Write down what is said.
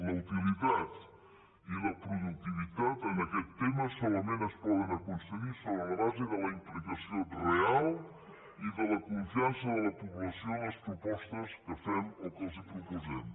la utilitat i la productivitat en aquest tema solament es poden aconseguir sobre la base de la implicació real i de la confiança de la població en les propostes que fem o que els proposem